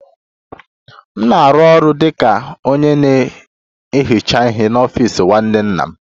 M na-arụ ọrụ dị ka onye na-ehicha ihe n'ọfịs nwanne nna m